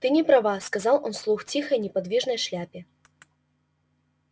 ты не права сказал он вслух тихой неподвижной шляпе